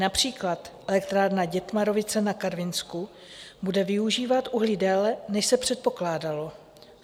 Například Elektrárna Dětmarovice na Karvinsku bude využívat uhlí déle, než se předpokládalo.